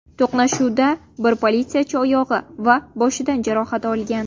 To‘qnashuvda bir politsiyachi oyog‘i va boshidan jarohat olgan.